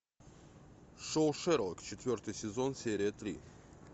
шоу шерлок четвертый сезон серия три